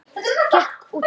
Gekk út!